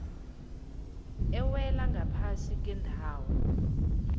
ewela ngaphasi kwendawo